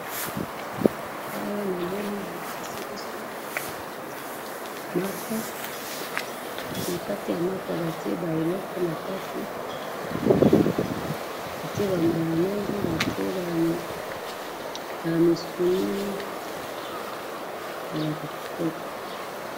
awa namoni balakisi biso mapa na kati ya mapa batiye ba eloko kati batiye mayonaise batiye ba misuni ezalaka kitoko